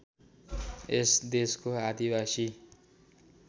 यस देशको आदिबासी